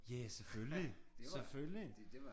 Ja ja selvfølgelig selvfølgelig